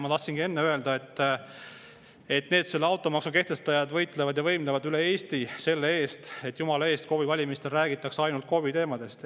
Ma tahtsingi enne öelda, et automaksu kehtestajad võitlevad ja võimlevad üle Eesti selle eest, et jumala eest KOV-i valimistel räägitaks ainult KOV-i teemadest.